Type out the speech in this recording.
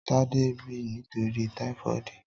Tade n bì nitóri tàífọ̀dí